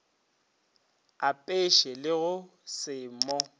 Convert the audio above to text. apeše le go se mo